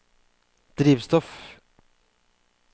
drivstoff